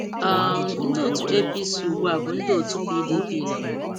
um Ndị otu APC ugbua bụ ndị otu PDP na mbụ.